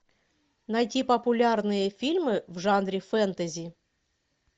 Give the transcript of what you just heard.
найти популярные фильмы в жанре фэнтези